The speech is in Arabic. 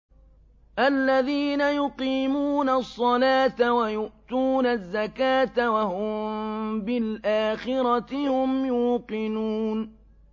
الَّذِينَ يُقِيمُونَ الصَّلَاةَ وَيُؤْتُونَ الزَّكَاةَ وَهُم بِالْآخِرَةِ هُمْ يُوقِنُونَ